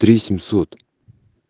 три семьсот